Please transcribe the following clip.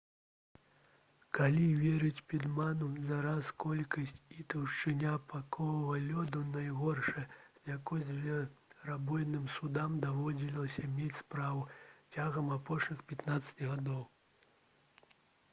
калі верыць пітману зараз колькасць і таўшчыня пакавага лёду найгоршая з якой зверабойным судам даводзілася мець справу цягам апошніх 15 гадоў